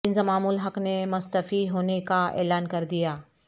انضمام الحق نے مستعفی ہو نے کا اعلان کر دیا